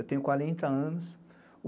Eu tenho quarenta anos.